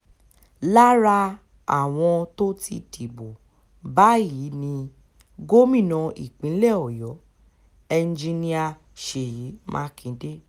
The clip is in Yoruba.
lára àwọn tó ti dìbò báyìí ni gómìnà ìpínlẹ̀ ọ̀yọ́ enjinnnia ṣèyí mákindè